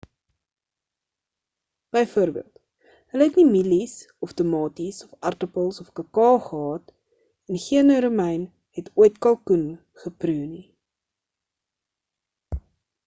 byvoorbeeld hulle het nie mielies of tamaties of aartappels of kakao gehad nie en geen romein het ooit kalkoen geproe nie